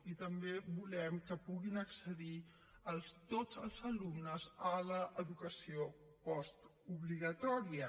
i també volem que puguin accedir tots els alumnes a l’educació postobligatòria